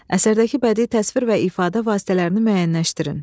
Əsərdəki bədii təsvir və ifadə vasitələrini müəyyənləşdirin.